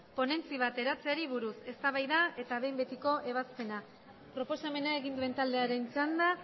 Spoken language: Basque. ponentzia bat eratzeari buruz eztabaida eta behin betiko ebazpena proposamena egin duen taldearen txanda